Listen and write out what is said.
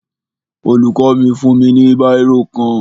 Olùkọ́ mi fún mi ní bírò kan